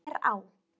Glerá